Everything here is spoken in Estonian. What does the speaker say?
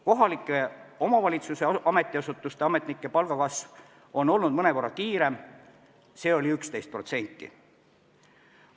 Kohalike omavalitsuste ametiasutuste ametnike palga kasv on olnud mõnevõrra kiirem, see oli 11%.